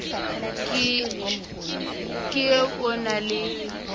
ke e o na le